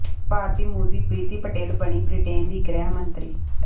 ਭਾਰਤੀ ਮੂਲ ਦੀ ਪ੍ਰੀਤੀ ਪਟੇਲ ਬਣੀ ਬ੍ਰਿਟੇਨ ਦੀ ਗ੍ਰਹਿ ਮੰਤਰੀ